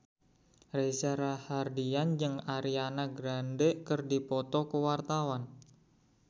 Reza Rahardian jeung Ariana Grande keur dipoto ku wartawan